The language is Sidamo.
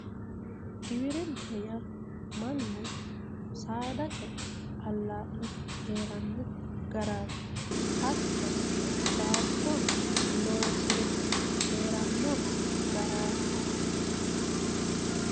Giwirinna yaa mannu saada ce'e alaa'le heeranno garaati hattono baatto loodire heeranno garaati